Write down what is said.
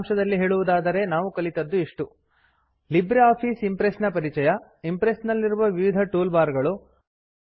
ಸಾರಾಂಶದಲ್ಲಿ ಹೇಳುವುದಾದರೆ ನಾವು ಕಲಿತದ್ದು ಇಷ್ಟು ಲಿಬ್ರೆ ಆಫಿಸ್ ಇಂಪ್ರೆಸ್ ನ ಪರಿಚಯ ಇಂಪ್ರೆಸ್ ನಲ್ಲಿರುವ ವಿವಿದ ಟೂಲ್ ಬಾರ್ ಗಳು